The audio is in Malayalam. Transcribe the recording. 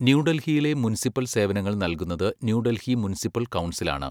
ന്യൂഡൽഹിയിലെ മുനിസിപ്പൽ സേവനങ്ങൾ നൽകുന്നത് ന്യൂ ഡൽഹി മുനിസിപ്പൽ കൗൺസിലാണ്.